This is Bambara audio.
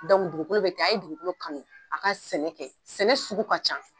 dugukolo bɛ ten a ye dugukolo kanu a ka sɛnɛ kɛ sɛnɛ sugu ka ca.